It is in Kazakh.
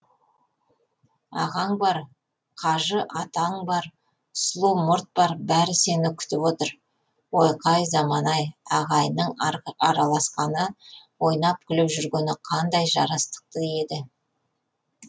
ағаң бар қажы атаң бар сұлу мұрт бар бәрі сені күтіп отыр ойқай заман ай ағайынның араласқаны ойнап күліп жүргені қандай жарастықты еді